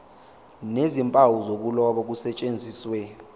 nezimpawu zokuloba kusetshenziswe